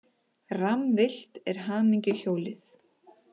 Rammvillt er hamingjuhjólið.